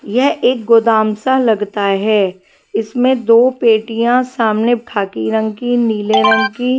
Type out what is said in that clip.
यह एक गोदाम सा लगता है इसमें दो पेटियाँ सामने खाकी रंग की नीले रंग की --